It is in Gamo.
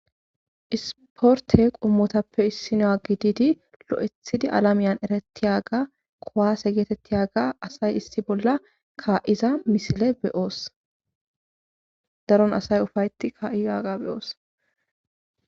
isporte qummotappe issinoa gididi lo7ethidi alamiyan ereti yaaga kowaase geetetti yaaga asay issi bolla kaa7iza misile beyoos daron asay ufayti kaa7i aaga beyoos